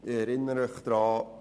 Ich erinnere Sie daran: